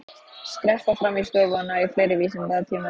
Skreppa fram í stofu og ná í fleiri vísindatímarit.